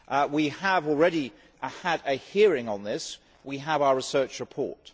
We have already had a hearing on this and we have our research report.